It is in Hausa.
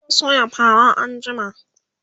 zamu soya fara anjima